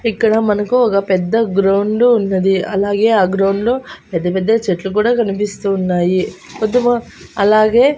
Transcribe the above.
ఇక్కడ మనకు ఒక పెద్ద గ్రౌండు ఉన్నది అలాగే ఆ గ్రౌండ్లో పెద్దపెద్ద చెట్లు కూడా కనిపిస్తూ ఉన్నాయి అలాగే--